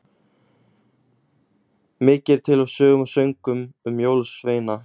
Mikið er til af sögum og söngvum um jólasveina.